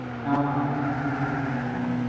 ஆமா, அதான் முக்கியமான point ஏ